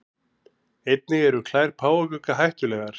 Einnig eru klær páfagauka hættulegar.